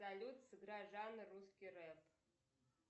салют сыграй жанр русский рэп